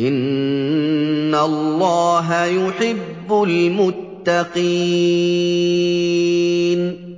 إِنَّ اللَّهَ يُحِبُّ الْمُتَّقِينَ